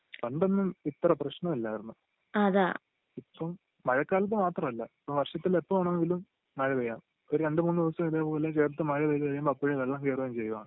പണ്ടൊന്നും ഇത്ര പ്രശ്നം ഇല്ലായിരുന്നു ഇപ്പോം മഴക്കാലത്ത് മാത്രം അല്ല ഇപ്പൊ വർഷത്തിൽ എപ്പോ വേണമെങ്കിലും മഴ പെയ്യാം ഒരു രണ്ട് മൂന്ന് ദിവസം ഇതേപോലെ ചേർത്ത് മഴ പെയ്ത് കഴിയുമ്പോ അപ്പോഴേ വെള്ളം കേറുകയാണ് ചെയ്യുക